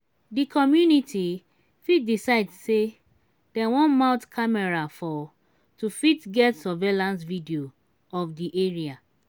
di community fit decide sey dem wan mount camera for to fit get survaillance video of di area